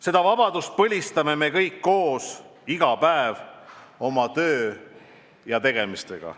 Seda vabadust põlistame me kõik koos iga päev oma töö ja tegemistega.